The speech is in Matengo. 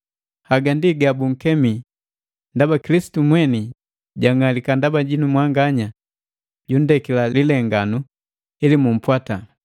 Haga ndi gabunkemi; ndaba Kilisitu mweni jang'alika ndaba jinu mwanganya, jundekila lilenganu, ili mumpwata.